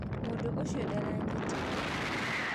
Mũndũ ũcio ndaranyitĩkana.